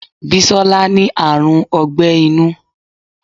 Bisola ní àrùn ogbẹ́ inú